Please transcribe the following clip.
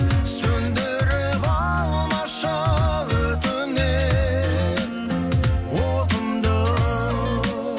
сөнідіріп алмашы өтінемін отымды